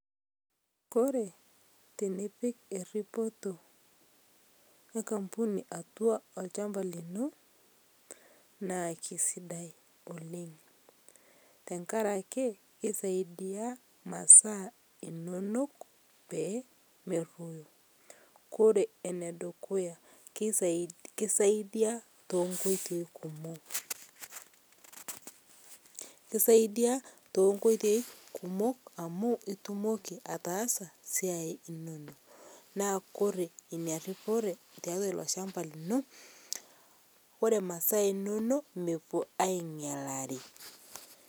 Kore tinipik eripotoo enkampuni atua olshampa lino, naa keisidai oleng tankarakee keisaidia masaa inonok peemeroyo, kore enedukuya keisaidia tenkoitei kumok, keisaidia tenkoitei kumok amu itumokii ataasa siai inonoo naa kore inia riporee taatua lshampaa linoo oree masaa inonoo mepuo ainyalarii.